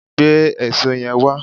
Gbé èṣó yẹn wá!